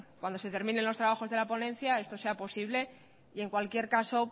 cuando se terminen los trabajos de la ponencia esto se posible y en cualquier caso